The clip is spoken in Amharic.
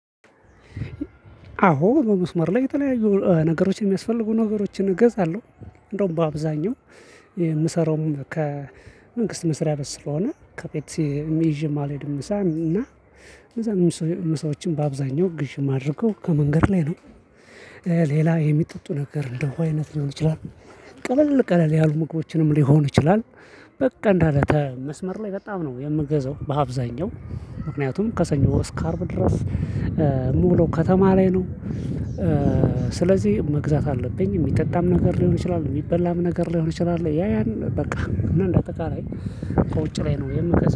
አዎ በመስመር ላይ የተለያዩ ነገሮችን የሚያስፈልጉ ነገሮችን እገዛለሁ። እንደውም በአብዛኛው የምሰራውም ከመንግስት መስሪያ ቤት ስለሆነ ከቤት ይዠም አልሄድም ምሳም እና እነዛንም ምሳዎችን በአብዛኛው ግዥ የማደርገው ከመንገድ ላይ ነው። ሌላ የሚጠጡ ነገር እንደ ውሃ አይነት ሊሆን ይችላል። ቀለል ቀለል ያሉ ምግቦችንም ሊሆን ይችላል። በቃ እንዳለ መስመር ላይ በጣም ነው የምገዘው በአብዛኛው ምክንያቱም ከሰኞ እስከ አርብ ድረስ የምውለው ከተማ ላይ ነው። ስለዚህ መግዛት አለብኝ የሚጠጣም ነገር ሊሆን ይችላል የሚበላም ነገር ሊሆን ይችላል ያ ያን በቃ እንዳጠቃላይ ከውጭ ላይ ነው የምገዛው